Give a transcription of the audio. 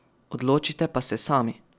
Odločite pa se sami.